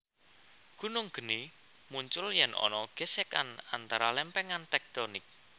Gunung geni muncul yèn ana gèsèkan antara lèmpèngan tèktonik